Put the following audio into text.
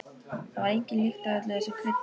Það var engin lykt af öllu þessu kryddi.